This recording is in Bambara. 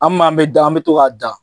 A m'an me dan, an me to k'a dan.